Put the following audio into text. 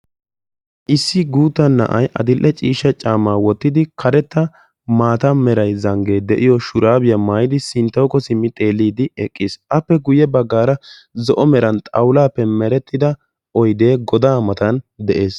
Issi guutta na'ay adil'e ciishsha caammaa wottidi karetta maata meray zanggee de'iyo shuraabiya mayidi Sinttawukko simmi xeelliiddi eqqis. Appe guyye baggaara zo'o meran xawulaappe merettida oyidee godaa matan de'es.